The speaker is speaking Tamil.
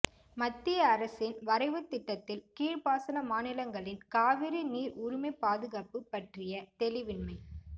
மத்திய அரசின் வரைவுத் திட்டத்தில் கீழ்பாசன மாநிலங்களின் காவிரி நீர்உரிமைப் பாதுகாப்பு பற்றிய தெளிவின்மை